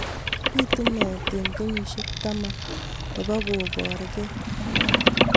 Pitu meet eng' kenyishek taman nepo koporkei